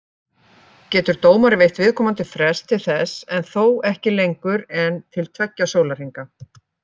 Getur dómari veitt viðkomandi frest til þess, en þó ekki lengur en til tveggja sólarhringa.